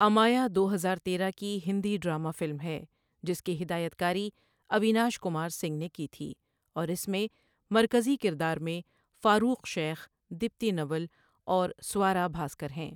امایا دو ہرار تیرہ کی ہندی ڈرامہ فلم ہے جس کی ہدایت کاری اویناش کمار سنگھ نے کی تھی، اور اس میں مرکزی کردار میں فاروق شیخ، دیپتی نیول اور سوارا بھاسکر ہیں۔